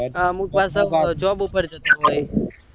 અમુક પાછા job ઉઓઅર જતા હોય હ